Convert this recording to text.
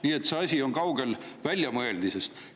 Nii et see asi on väljamõeldisest kaugel.